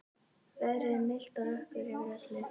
Veðrið er milt og rökkur yfir öllu.